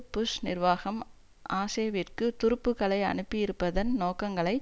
push நிர்வாகம் ஆஷேவிற்கு துருப்புக்களை அனுப்பியிருப்பதன் நோக்கங்களை